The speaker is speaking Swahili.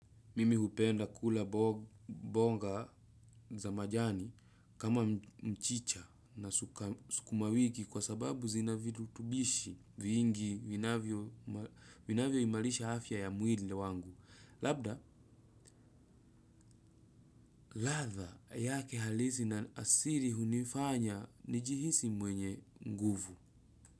Mimi hupenda kula mboga za majani kama mchicha na sukuma wiki kwa sababu zina virutubisho vingi vinavyoimarisha afya ya mwili wangu. Labda, ladha yake halisi na asili hunifanya nijihisi mwenye nguvu.